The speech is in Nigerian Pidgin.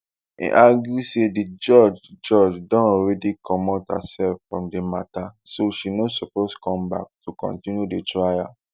e argue say di judge judge don already comot hersef from di matter so she no suppose come back to continue di trial